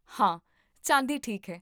ਹਾਂ, ਚਾਂਦੀ ਠੀਕ ਹੈ